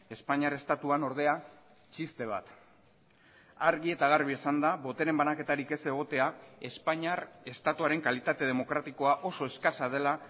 espainiar estatuan ordea txiste bat argi eta garbi esanda botereen banaketarik ez egotea espainiar estatuaren kalitate demokratikoa oso eskasa dela